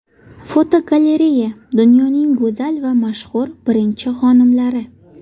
Fotogalereya: Dunyoning go‘zal va mashhur birinchi xonimlari.